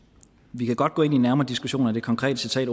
vi kan godt gå ind i en nærmere diskussion af det konkrete citat